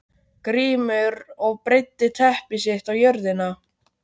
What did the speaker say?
Grímur og breiddi teppi sitt á jörðina.